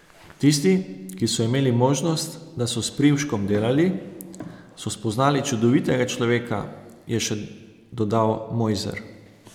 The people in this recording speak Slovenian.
Tisti, ki so imeli možnost, da so s Privškom delali, so spoznali čudovitega človeka, je še dodal Mojzer.